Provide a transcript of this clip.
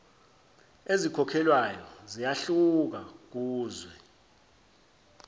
ezikhokhelwayo ziyahluka kuzwe